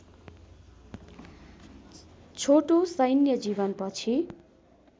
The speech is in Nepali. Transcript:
छोटो सैन्य जीवनपछि